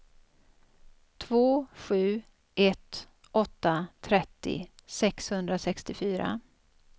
två sju ett åtta trettio sexhundrasextiofyra